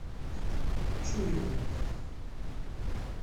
чуеву